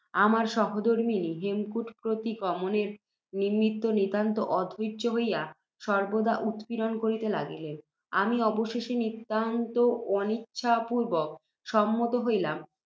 আমার সহধর্ম্মিণী, হেমকূট প্রতিগমনের নিমিত্ত নিতান্ত অধৈর্য্য হইয়া, সর্ব্বদা উৎপীড়ন করিতে লাগিলেন। আমি অবশেষে, নিতান্ত অনিচ্ছা পূর্ব্বক, সম্মত হইলাম।